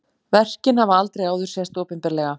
Verkin hafa aldrei áður sést opinberlega